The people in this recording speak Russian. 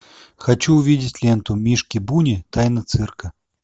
хочу увидеть ленту мишки буни тайна цирка